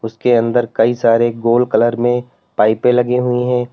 के अंदर कई सारे गोल कलर में पाइपे लगी हुई है।